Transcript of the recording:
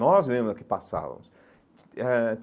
Nós mesmos é que passávamos eh.